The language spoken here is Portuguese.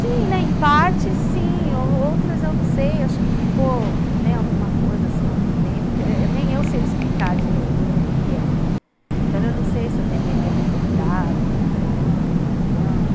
Sim, né, em parte sim, outras eu não sei, acho que ficou alguma coisa assim por dentro, nem eu sei explicar direito o que é. Então eu não sei se eu deveria ter procurado pela minha mãe ou não.